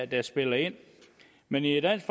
der spiller ind men i dansk